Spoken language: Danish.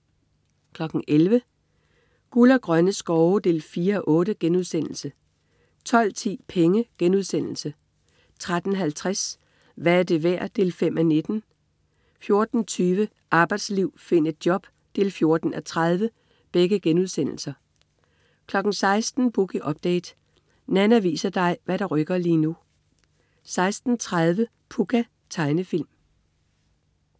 11.00 Guld og grønne skove 4:8* 12.10 Penge* 13.50 Hvad er det værd? 5:19* 14.20 Arbejdsliv. Find et job 14:30* 16.00 Boogie Update. Nanna viser dig hvad der rykker lige nu 16.30 Pucca. Tegnefilm